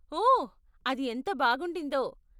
ఓ! అది ఎంత బాగుండిందో.